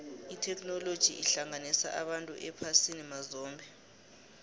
itheknoloji ihlanganisa abantu ephasini mazombe